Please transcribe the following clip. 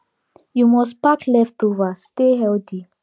you must pack leftover stay healthy